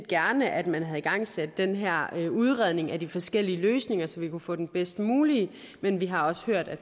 gerne at man havde igangsat den her udredning af de forskellige løsninger så vi kunne få den bedst mulige men vi har også hørt at